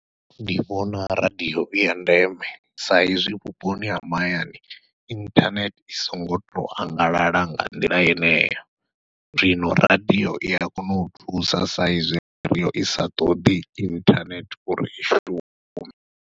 Ndi vhona radiyo iya ndeme sa izwi vhuponi ha mahayani inthanethe i songo to angalala nga nḓila yeneyo, zwino radiyo ia kona u thusa sa izwi radiyo isa ṱoḓi inthanethe uri i shume.